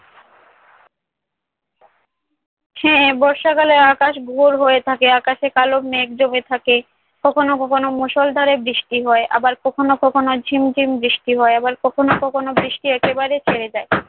সে বর্ষাকালে আকাশ ঘোর হয়ে থাকে। আকাশে কালো মেঘ জমে থাকে, কখনো কখনো মুষলধারে বৃষ্টি হয়। আবার কখনো কখনো ঝিম ঝিম বৃষ্টি হয়। আবার কখনো কখনো বৃষ্টি একেবারে ছেড়ে যায়।